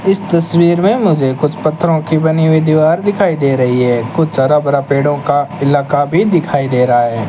इस तस्वीर में मुझे कुछ पत्थरों की बनी हुई दीवार दिखाई दे रही है कुछ हरा भरा पेड़ों का इलाका भी दिखाई दे रहा है।